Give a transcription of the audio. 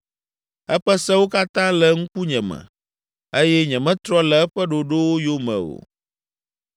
Eƒe sewo katã le ŋkunye me; eye nyemetrɔ le eƒe ɖoɖowo yome o.